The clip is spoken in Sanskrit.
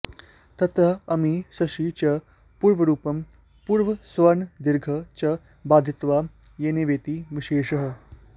तत्र अमि शसि च पूर्वरूपं पूर्वसवर्णदीर्घं च बाधित्वा यणेवेति विशेषः